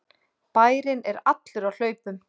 Bærinn er allur á hlaupum!